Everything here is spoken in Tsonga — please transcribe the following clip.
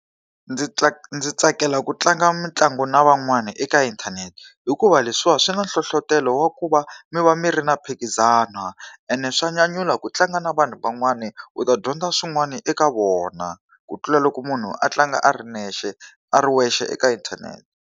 Ndzi ndzi tsakela ku tlanga mitlangu na van'wana eka inthanete hikuva leswiwa swi na nhlohletelo wa ku va mi va mi ri na mphikizano. Ene swa nyanyula ku tlanga na vanhu van'wani, u ta dyondza swin'wana eka vona. Ku tlula loko munhu a tlanga a ri nexe a ri wexe eka inthanete.